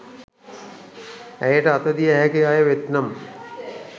ඇයට අත දිය හැකි අය වෙත් නම්